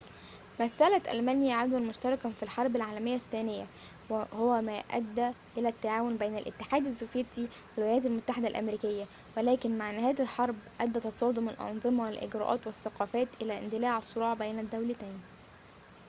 مثلت ألمانيا عدواً مشتركاً في الحرب العالمية الثانية وهو ما أدى إلى التعاون بين الاتحاد السوفيتي والولايات المتحدة الأمريكية ولكن مع نهاية الحرب أدى تصادم الأنظمة والإجراءات والثقافات إلى اندلاع الصراع بين الدولتين